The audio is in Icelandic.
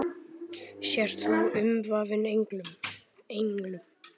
Sért þú umvafin englum.